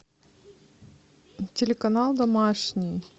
телеканал домашний